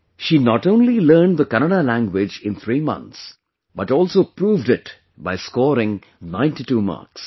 She not only learned Kannada language in three months, but also proved it by scoring 92 marks